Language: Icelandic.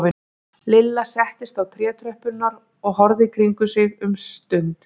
Lilla settist á trétröppurnar og horfði í kringum sig um stund.